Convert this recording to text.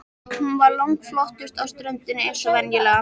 Hún var langflottust á ströndinni eins og venjulega.